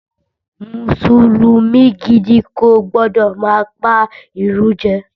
Mùsùlùmí gidi kò gbọ́dọ̀ má pa ìrun jẹ